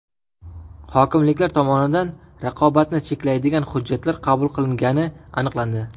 Hokimliklar tomonidan raqobatni cheklaydigan hujjatlar qabul qilingani aniqlandi.